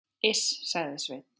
Iss, sagði Sveinn.